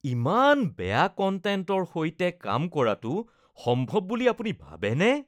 ইমান বেয়া কন্টেন্টৰ সৈতে কাম কৰাটো সম্ভৱ বুলি আপুনি ভাবেনে?